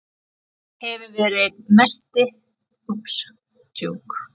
Hefur verið einn besti miðjumaður tímabilsins.